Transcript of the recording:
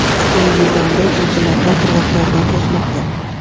U yil davomida uchinchi marta qirg‘oqlaridan toshmoqda.